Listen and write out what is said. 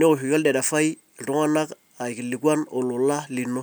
neoshoki olderefai iltung'ana aikilikuan olola lino.